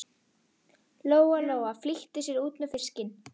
Lóa Lóa flýtti sér út með fiskinn.